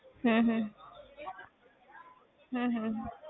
ਹਮ ਹਮ ਹਮ ਹਮ